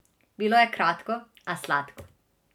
Bilo je kratko, a sladko.